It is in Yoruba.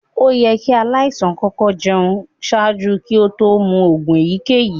Oyẹ̀ kí alaisàn kọkọ̀ jẹún ṣaajú kí òtó mú oogun èyíkẹ̀yí.